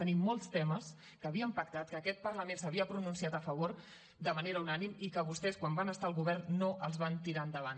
tenim molts temes que havíem pactat que aquest parlament s’hi havia pronunciat a favor de manera unànime i que vostès quan van estar al govern no els van tirar endavant